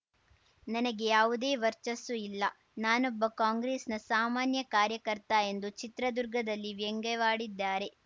ನನಗೆ ಯಾವುದೇ ವರ್ಚಸ್ಸು ಇಲ್ಲ ನಾನೊಬ್ಬ ಕಾಂಗ್ರೆಸ್‌ನ ಸಾಮಾನ್ಯ ಕಾರ್ಯಕರ್ತ ಎಂದು ಚಿತ್ರದುರ್ಗದಲ್ಲಿ ವ್ಯಂಗ್ಯವಾಡಿದ್ದಾರೆ